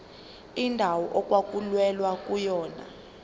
indawo okwakulwelwa kuyona